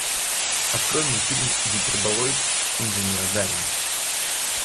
открой мне фильм гиперболоид инженера гарина